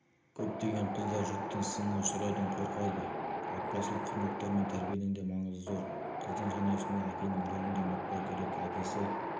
көптеген қыздар жұрттың сынына ұшыраудан қорқады отбасылық құндылықтар мен тәрбиенің де маңызы зор қыздың жанұясындағы әкенің рөлін де ұмытпау керек әкесі